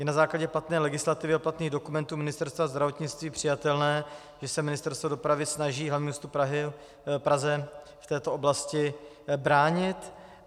Je na základě platné legislativy a platných dokumentů Ministerstva zdravotnictví přijatelné, že se Ministerstvo dopravy snaží hlavnímu městu Praze v této oblasti bránit?